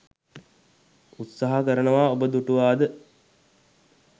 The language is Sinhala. උත්සාහ කරනවා ඔබ දුටුවාද?